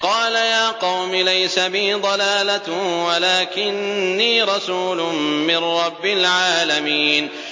قَالَ يَا قَوْمِ لَيْسَ بِي ضَلَالَةٌ وَلَٰكِنِّي رَسُولٌ مِّن رَّبِّ الْعَالَمِينَ